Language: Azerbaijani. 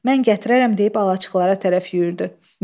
Mən gətirərəm deyib alaçıqlara tərəf yüyürdü.